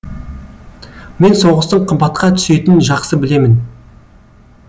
мен соғыстың қымбатқа түсетінін жақсы білемін